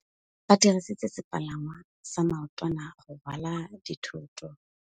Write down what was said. Ba dirisitse sepalangwasa maotwana go rwala dithôtô.